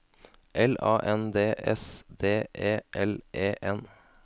L A N D S D E L E N